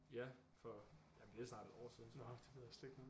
Ja for jamen det er snart et år siden